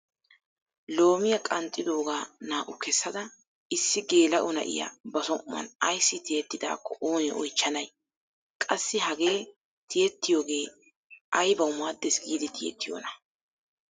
Loomiyaa qanxxidoogaa naa"u kessada issi geela'o na'iyaa ba som"uwaan ayssi tiyidaakko oonee oychchanay? qassi hagee tiyettiyoogee aybawu maaddes giidi tiyettiyoonaa?